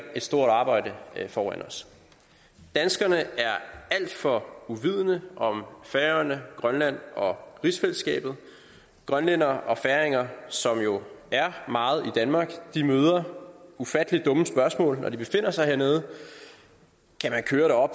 et stort arbejde foran os danskerne er alt for uvidende om færøerne grønland og rigsfællesskabet grønlændere og færinger som jo er meget i danmark møder ufattelig dumme spørgsmål når de befinder sig hernede kan man køre